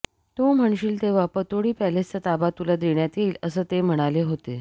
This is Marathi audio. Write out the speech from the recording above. तू म्हणशील तेव्हा पतौडी पॅलेसचा ताबा तुला देण्यात येईल असं ते म्हणाले होते